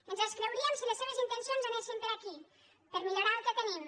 ens els creuríem si les seves intencions anessin per aquí per millorar el que tenim